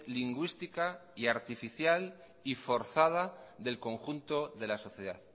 lingüística y artificial y forzada del conjunto de la sociedad